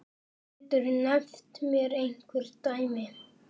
Geturðu nefnt mér einhver dæmi?